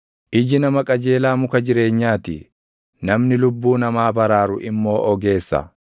Iji nama qajeelaa muka jireenyaa ti; namni lubbuu namaa baraaru immoo ogeessa.